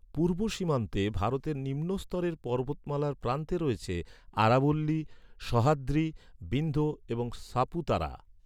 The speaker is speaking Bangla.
পূর্ব সীমান্তে ভারতের নিম্নস্তরের পর্বতমালার প্রান্তে রয়েছে, আরাবল্লী, সহ্যাদ্রি, বিন্ধ্য এবং সাপুতারা।